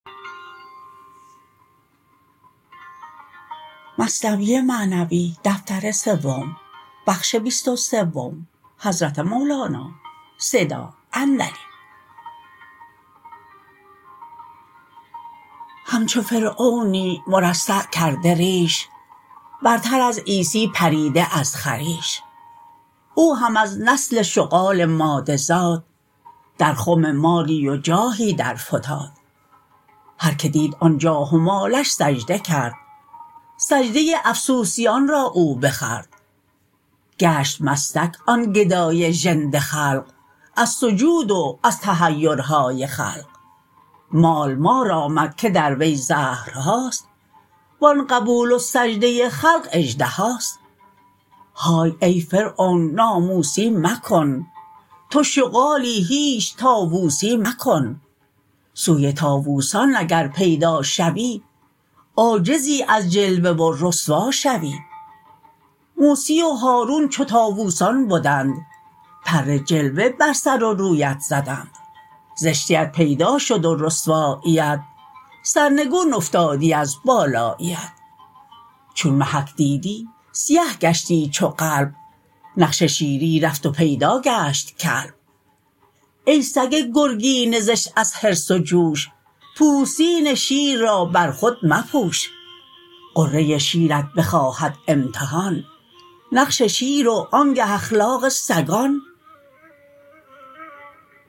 همچو فرعونی مرصع کرده ریش برتر از عیسی پریده از خریش او هم از نسل شغال ماده زاد در خم مالی و جاهی در فتاد هر که دید آن جاه و مالش سجده کرد سجده افسوسیان را او بخورد گشت مستک آن گدای ژنده دلق از سجود و از تحیرهای خلق مال مار آمد که در وی زهرهاست و آن قبول و سجده خلق اژدهاست های ای فرعون ناموسی مکن تو شغالی هیچ طاووسی مکن سوی طاووسان اگر پیدا شوی عاجزی از جلوه و رسوا شوی موسی و هارون چو طاووسان بدند پر جلوه بر سر و رویت زدند زشتیت پیدا شد و رسواییت سرنگون افتادی از بالاییت چون محک دیدی سیه گشتی چو قلب نقش شیری رفت و پیدا گشت کلب ای سگ گرگین زشت از حرص و جوش پوستین شیر را بر خود مپوش غره شیرت بخواهد امتحان نقش شیر و آنگه اخلاق سگان